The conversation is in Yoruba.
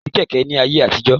Kosi Kẹ̀kẹ́ ni ayé àtijọ́